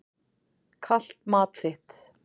Kalt mat þitt.